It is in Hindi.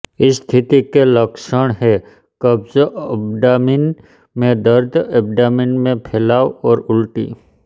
इस स्थिति के लक्षण हैं कब्ज एब्डामिन में दर्द एब्डामिन में फैलाव और उल्टी